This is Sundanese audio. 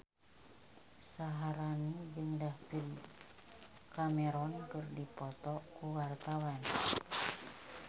Syaharani jeung David Cameron keur dipoto ku wartawan